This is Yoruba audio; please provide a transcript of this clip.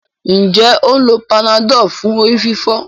Njé o ń ló Panadol fún orí-fífọ́?